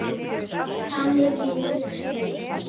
Þannig vil ég minnast þín.